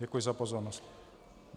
Děkuji za pozornost.